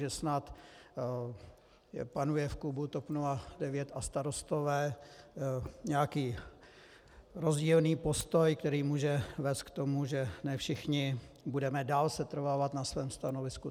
Že snad panuje v klubu TOP 09 a Starostové nějaký rozdílný postoj, který může vést k tomu, že ne všichni budeme dál setrvávat na svém stanovisku.